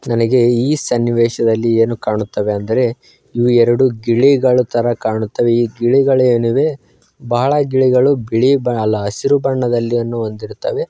ನನಗೆ ಈ ಸನ್ನಿವೇಶದಲ್ಲಿ ಏನು ಕಾಣುತ್ತವೆ ಅಂದರೆ ಇವು ಎರೆಡು ಗಿಳಿಗಳು ತರ ಕಾಣುತ್ತವೆ ಈ ಗಿಳಿಗಳು ಏನ್ ಇವೆ ಬಾಳ ಗಿಳಿಗಳು ಬಿಳಿ ಆಹ್- ಅಲ್ಲಾ ಹಸಿರು ಬಣ್ಣವನ್ನು ಹೊಂದಿರುತ್ತವೆ.